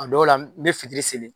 O dɔw la n be fitiri seli